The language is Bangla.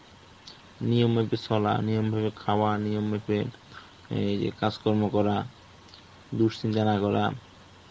নিয়ম মেপে চলা, নিয়ম মেপে খাওয়া, নিয়ম মাপে এইযে কাজকর্ম করা. দুশ্চিন্তা না করা.